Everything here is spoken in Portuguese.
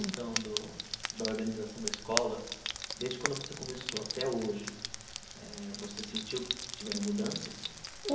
Questão do da organização da escola, desde quando você começou até hoje eh, você sentiu que tiveram mudanças?